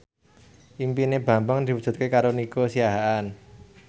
impine Bambang diwujudke karo Nico Siahaan